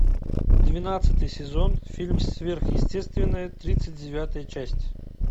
двенадцатый сезон фильм сверхъестественное тридцать девятая часть